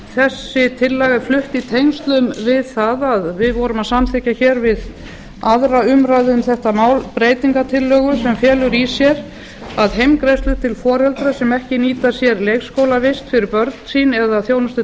þessi tillaga er flutt í tengslum við það að við vorum að samþykkja hér við aðra umræðu um þetta mál breytingartillögu sem felur í sér að heimgreiðslur til foreldra sem ekki nýta sér leikskólavist fyrir börn sín eða þjónustu